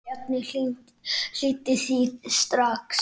Bjarni hlýddi því strax.